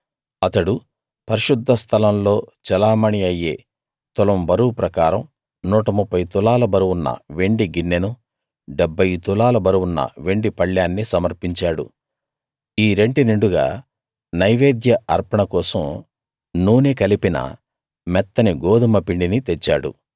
అతడు పరిశుద్ధ స్థలంలో చెలామణీ అయ్యే తులం బరువు ప్రకారం 130 తులాల బరువున్న వెండి గిన్నెనూ 70 తులాల బరువున్న వెండి పళ్ళేన్నీ సమర్పించాడు ఈ రెంటి నిండుగా నైవేద్య అర్పణ కోసం నూనె కలిపిన మెత్తని గోదుమ పిండిని తెచ్చాడు